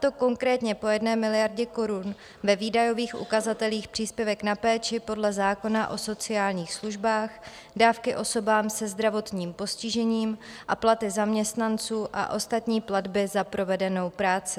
To konkrétně po jedné miliardě korun do výdajových ukazatelů příspěvek na péči podle zákona o sociálních službách, dávky osobám se zdravotním postižením a platy zaměstnanců a ostatní platby za provedenou práci.